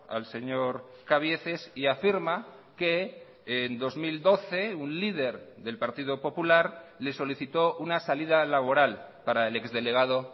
al señor cabieces y afirma que en dos mil doce un líder del partido popular le solicitó una salida laboral para el ex delegado